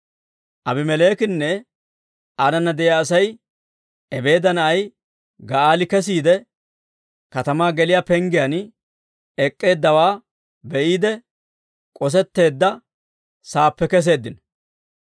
Aabimeleekinne aanana de'iyaa Asay Ebeeda na'ay Ga'aali kesiide, katamaa geliyaa penggiyaan ek'k'eeddawaa be'iide, k'osetteedda saappe keseeddino.